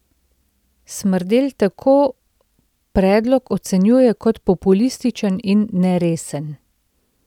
Smrdelj tako predlog ocenjuje kot populističen in neresen.